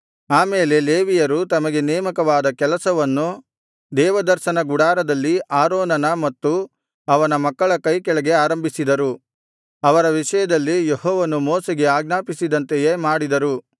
ಆ ಮೇಲೆ ಲೇವಿಯರು ತಮಗೆ ನೇಮಕವಾದ ಕೆಲಸವನ್ನು ದೇವದರ್ಶನ ಗುಡಾರದಲ್ಲಿ ಆರೋನನ ಮತ್ತು ಅವನ ಮಕ್ಕಳ ಕೈಕೆಳಗೆ ಆರಂಭಿಸಿದರು ಅವರ ವಿಷಯದಲ್ಲಿ ಯೆಹೋವನು ಮೋಶೆಗೆ ಆಜ್ಞಾಪಿಸಿದಂತೆಯೇ ಮಾಡಿದರು